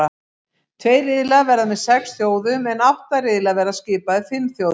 Tveir riðlar verða með sex þjóðum en átta riðlar verða skipaðir fimm þjóðum.